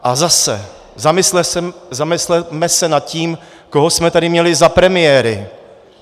A zase - zamysleme se nad tím, koho jsme tady měli za premiéry.